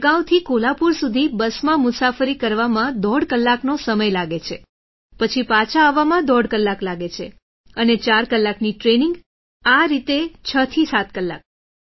વડગાંવથી કોલ્હાપુર સુધી બસમાં મુસાફરી કરવામાં દોઢ કલાકનો સમય લાગે છે પછી પાછા આવવામાં દોઢ કલાક લાગે છે અને ચાર કલાકની ટ્રેનિંગ આ રીતે 67 કલાક